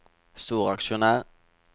storaksjonær